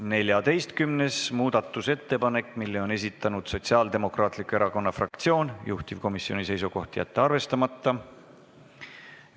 14. muudatusettepaneku on esitanud Sotsiaaldemokraatliku Erakonna fraktsioon, juhtivkomisjoni seisukoht on jätta see arvestamata.